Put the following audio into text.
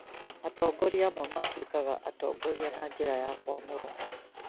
atongoria amwe matuĩkaga atongoria na njĩra ya kũamũrwo